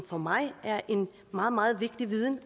for mig er en meget meget vigtig viden